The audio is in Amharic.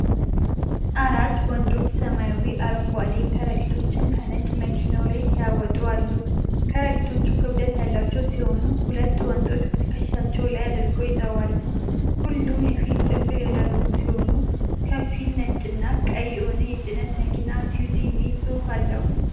አራት ወንዶች ሰማያዊ አረንጓዴ ከረጢቶችን ከጭነት መኪናው ላይ ሲያወጡ አሉ። ከረጢቶቹ ክብደት ያላቸው ሲሆኑ፣ ሁለት ወንዶች በትከሻቸው ላይ አድርገው ይዘዋል። ሁሉም የፊት ጭንብል ያደረጉ ሲሆን፣ ከፊል ነጭና ቀይ የሆነው የጭነት መኪና “አይሱዙ” የሚል ጽሑፍ አለው።